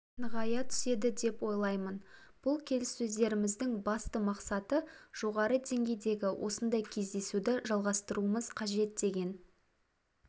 нығая түседі деп ойлаймын бұл келіссөздеріміздің басты мақсаты жоғары деңгейдегі осындай кездесуді жалғастыруымыз қажет деген